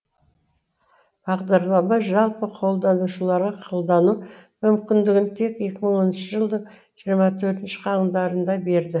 бағдарлама жалпы қолданушыларға қолдану мүмкіндігін тек екі мың он төртінші жылдың жиырма төртінші қаңтарында берді